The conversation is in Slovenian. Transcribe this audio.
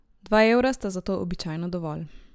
Dva evra sta za to običajno dovolj.